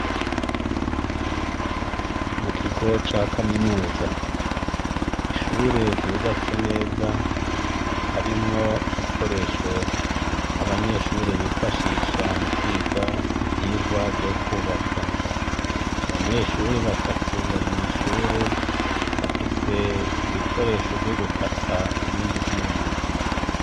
Mukigo ça Kaminuza. Ishure ryubatse neza, harimwo ibikoresho, abanyeshure bifashisha mukwiga ivyigwa vyo kwubaka. Abanyeshure batatu Bari mw'Ishure, bafise Ibikoresho vy'ugukata ibindi vyuma.